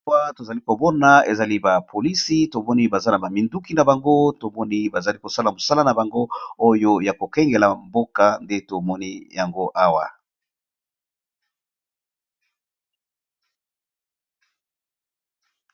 Owa tozali kobona ezali bapolisi tomoni baza na baminduki na bango tomoni bazali kosala mosala na bango oyo ya kokengela mboka nde tomoni yango awa.